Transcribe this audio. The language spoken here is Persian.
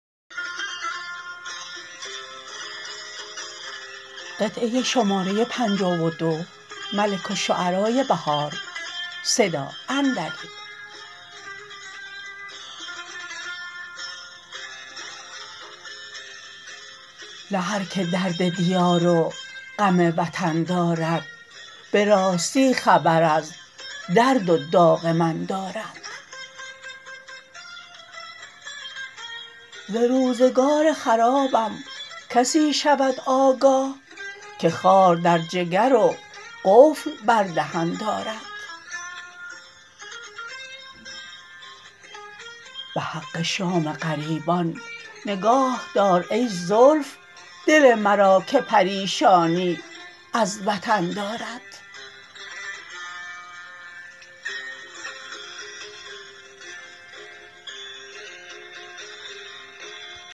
نه هرکه درد دیار و غم وطن دارد به راستی خبر از درد و داغ من دارد ز روزگار خرابم کسی شود آگاه که خار در جگر و قفل بر دهن دارد به حق شام غریبان نگاهدار ای زلف دل مرا که پریشانی از وطن دارد